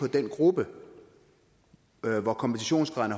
den gruppe hvor kompensationsgraden